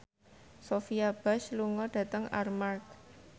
Sophia Bush lunga dhateng Armargh